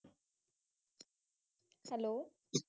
hello